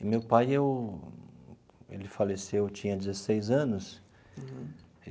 E meu pai eu, ele faleceu, eu tinha dezesseis anos.